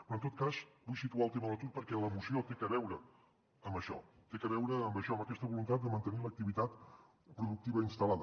però en tot cas vull situar el tema de l’atur perquè la moció té a veure amb això té a veure amb això amb aquesta voluntat de mantenir l’activitat productiva instal·lada